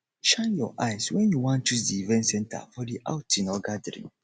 shine your eyes when you wan choose di event center for the outing or gathering